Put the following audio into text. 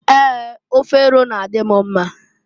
Ee! Ofe eru na- adị m mma.